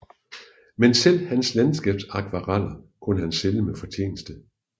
Men selv hans landskabsakvareller kunne han sælge med fortjeneste